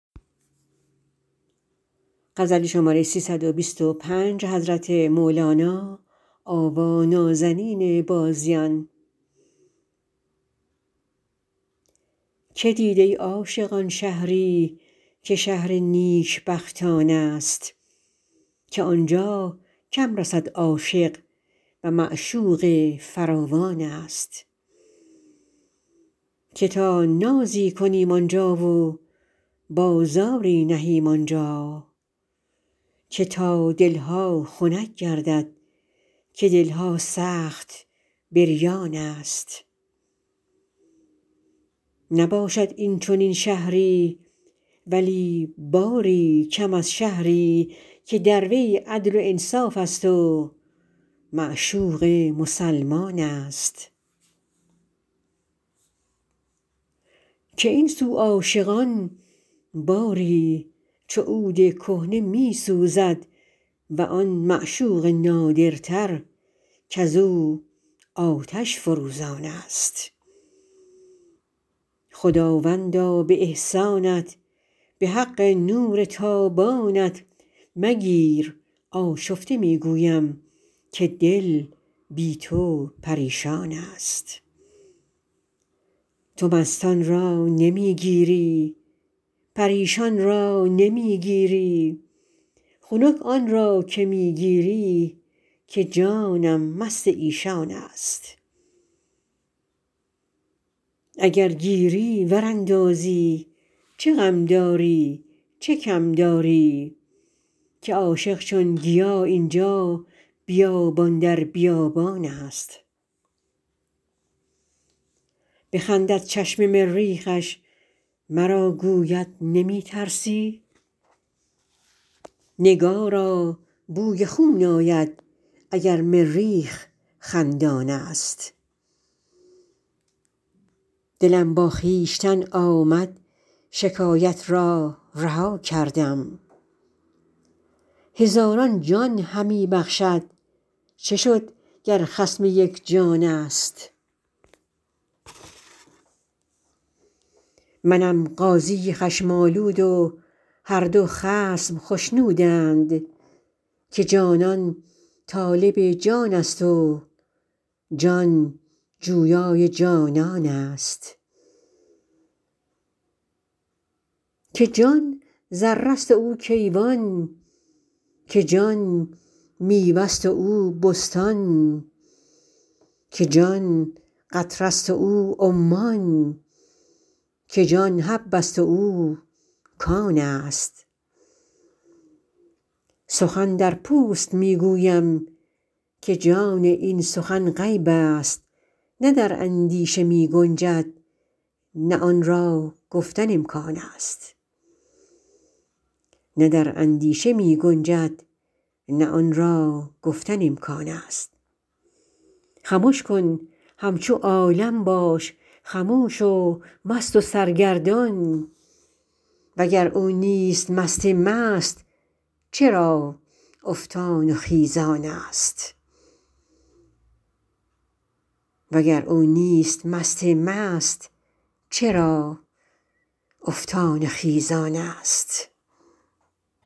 که دید ای عاشقان شهری که شهر نیکبختانست که عاشق کم رسد آنجا و معشوقش فراوانست که تا نازی کنیم آن جا و بازاری نهیم آن جا که تا دل ها خنک گردد که دل ها سخت بریانست نباشد این چنین شهری ولی باری کم از شهری که در وی عدل و انصافست و معشوق مسلمانست که این سو عاشقان باری چو عود کهنه می سوزد و آن معشوق نادرتر کز او آتش فروزانست خداوندا به احسانت به حق لطف و اکرامت مگیر آشفته می گویم که جان بی تو پریشانست تو مستان را نمی گیری پریشان را نمی گیری خنک آن را که می گیری که جانم مست ایشانست اگر گیری ور اندازی چه غم داری چه کم داری که عاشق هر طرف این جا بیابان در بیابانست بخندد چشم مریخش مرا گوید نمی ترسی نگارا بوی خون آید اگر مریخ خندانست دلم با خویشتن آمد شکایت را رها کردم هزاران جان همی بخشد چه شد گر خصم یک جانست منم قاضی خشم آلود و هر دو خصم خشنودند که جانان طالب جانست و جان جویای جانانست که جان ذره ست و او کیوان که جان میوه ست و او بستان که جان قطره ست و او عمان که جان حبه ست و او کانست سخن در پوست می گویم که جان این سخن غیبست نه در اندیشه می گنجد نه آن را گفتن امکانست خمش کن همچو عالم باش خموش و مست و سرگردان وگر او نیست مست مست چرا افتان و خیزانست